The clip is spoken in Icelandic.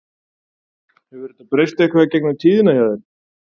Hefur þetta breyst eitthvað í gegnum tíðina hjá þér?